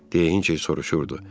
Deyə Hinçer soruşurdu.